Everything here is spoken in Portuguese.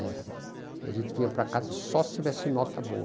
É. E a gente vinha para casa só se tivesse nota boa.